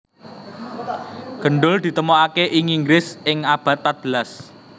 Gendul ditemokaké ing Inggris ing abad patbelas